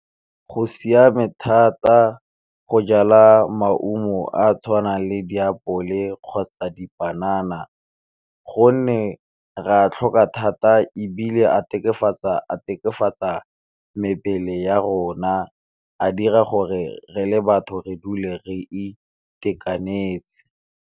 Go siame thata go jala maungo a a tshwanang le diapole kgotsa dipanana, gonne re a tlhoka thata ebile a mebele ya rona a dira gore re le batho re dule re itekanetse.